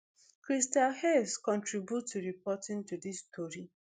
christal hayes contribute to reporting to dis story